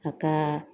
A ka